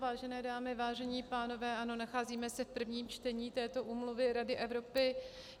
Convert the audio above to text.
Vážené dámy, vážení pánové, ano, nacházíme se v prvním čtení této úmluvy Rady Evropy.